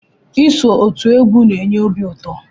Iso otú égwu n'enye obi ụtọ.